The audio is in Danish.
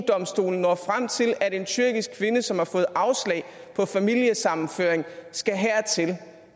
domstolen når frem til at en tyrkisk kvinde som har fået afslag på familiesammenføring skal hertil